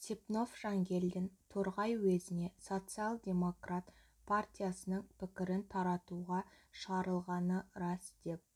степнов жангелдин торғай уезіне социал-демократ партиясының пікірін таратуға шығарылғаны рас деп